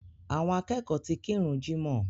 Àwọn akẹ́kọ̀ọ́ ti kírun jímọ̀